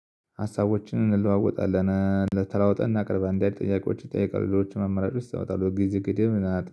ሀሳቦችን እንለዋወጣለን። ተለዋውጠን እናቀርባለን እንዲያ አይነት ጥያቄዎች ይጠይቃሉ ሌሎችም አማራጮች እስኪመጣለን ጊዜ ገደብ